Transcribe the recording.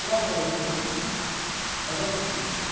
Pré-adolescentes, adolescentes.